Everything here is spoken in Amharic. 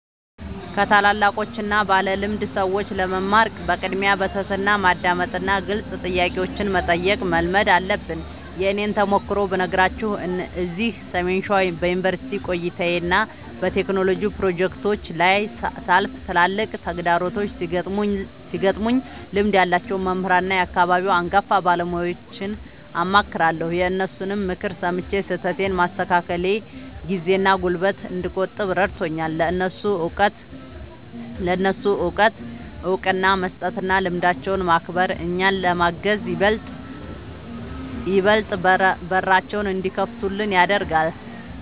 ከታላላቆችና ባለልምድ ሰዎች ለመማር በቅድሚያ በትሕትና ማዳመጥንና ግልጽ ጥያቄዎችን መጠየቅን መልመድ አለብን። የእኔን ተሞክሮ ብነግራችሁ፤ እዚህ ሰሜን ሸዋ በዩኒቨርሲቲ ቆይታዬና በቴክኖሎጂ ፕሮጀክቶቼ ላይ ሳልፍ፣ ትላልቅ ተግዳሮቶች ሲገጥሙኝ ልምድ ያላቸውን መምህራንና የአካባቢውን አንጋፋ ባለሙያዎችን አማክራለሁ። የእነሱን ምክር ሰምቼ ስህተቶቼን ማስተካከሌ ጊዜና ጉልበት እንድቆጥብ ረድቶኛል። ለእነሱ እውቀት እውቅና መስጠትና ልምዳቸውን ማክበር፣ እኛን ለማገዝ ይበልጥ በራቸውን እንዲከፍቱልን ያደርጋል።